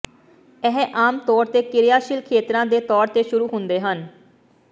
ਇਹ ਆਮ ਤੌਰ ਤੇ ਕਿਰਿਆਸ਼ੀਲ ਖੇਤਰਾਂ ਦੇ ਤੌਰ ਤੇ ਸ਼ੁਰੂ ਹੁੰਦੇ ਹਨ